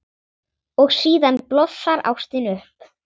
Og síðan blossar ástin upp.